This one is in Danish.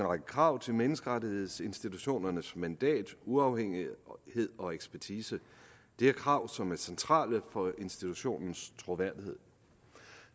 række krav til menneskerettighedsinstitutionernes mandat uafhængighed og ekspertise det er krav som er centrale for institutionens troværdighed